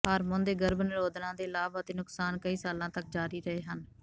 hormone ਦੇ ਗਰਭ ਨਿਰੋਧਨਾਂ ਦੇ ਲਾਭ ਅਤੇ ਨੁਕਸਾਨ ਕਈ ਸਾਲਾਂ ਤਕ ਜਾਰੀ ਰਹੇ ਹਨ